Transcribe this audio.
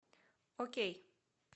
окей